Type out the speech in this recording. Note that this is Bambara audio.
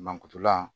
Mankutula